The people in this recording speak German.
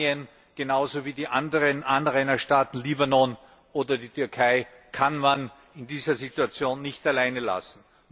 Jordanien genauso wie die anderen Anrainerstaaten Libanon oder die Türkei kann man in dieser Situation nicht allein lassen.